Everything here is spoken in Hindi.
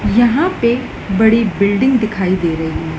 यहां पे बड़ी बिल्डिंग दिखाई दे रही--